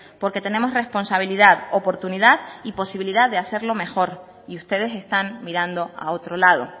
porque tenemos responsabilidad oportunidad y posibilidad de hacerlo mejor y ustedes están mirando a otro lado